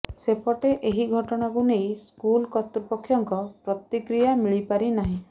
ସେପଟେ ଏହି ଘଟଣାକୁ ନେଇ ସ୍କୁଲ କର୍ତ୍ତୁପକ୍ଷଙ୍କ ପ୍ରତିକ୍ରିୟା ମିଳିପାରିନାହିଁ